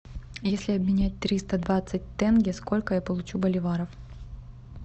если обменять триста двадцать тенге сколько я получу боливаров